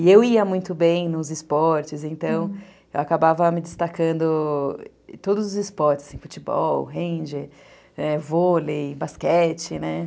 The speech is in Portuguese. E eu ia muito bem nos esportes, então eu acabava me destacando em todos os esportes, assim, futebol, ranger, é, vôlei, basquete, né?